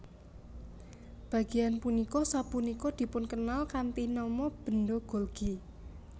Bagéyan punika sapunika dipunkenal kanthi nama benda Golgi